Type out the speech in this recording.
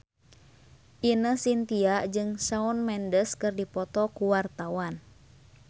Ine Shintya jeung Shawn Mendes keur dipoto ku wartawan